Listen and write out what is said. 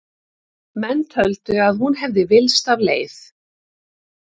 Menn töldu að hún hefði villst af leið.